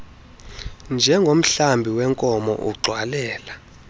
njengomhlambi weenkomo ugxwalela